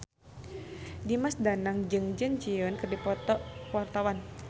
Dimas Danang jeung Jun Ji Hyun keur dipoto ku wartawan